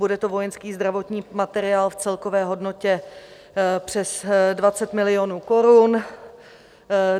Bude to vojenský zdravotní materiál v celkové hodnotě přes 20 milionů korun.